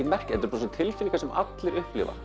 tilfinningar sem allir upplifa